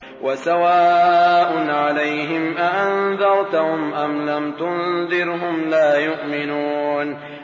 وَسَوَاءٌ عَلَيْهِمْ أَأَنذَرْتَهُمْ أَمْ لَمْ تُنذِرْهُمْ لَا يُؤْمِنُونَ